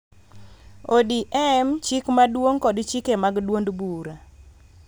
ODM chik maduong� kod chike mag duond bura.